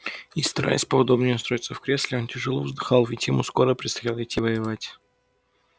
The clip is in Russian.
и стараясь поудобнее устроиться в кресле он тяжело вздыхал ведь ему скоро предстояло идти воевать